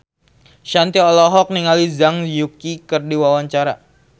Shanti olohok ningali Zhang Yuqi keur diwawancara